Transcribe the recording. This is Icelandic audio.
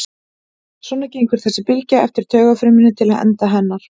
Svona gengur þessi bylgja eftir taugafrumunni til enda hennar.